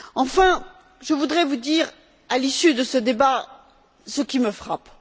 Enfin, je voudrais vous dire, à l'issue de ce débat, ce qui me frappe.